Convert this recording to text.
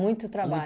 Muito trabalho.